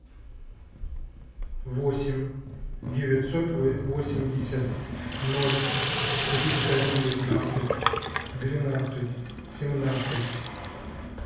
восемь девятьсот восемьдесят ноль триста девятнадцать двенадцать семнадцать